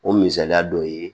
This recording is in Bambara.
O misaliya dɔ ye